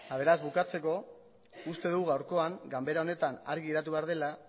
beraz bukatzeko uste dugu gaurkoan ganbera honetan argi geratu behar dela